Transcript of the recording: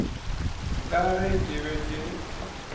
ka ge ke be ke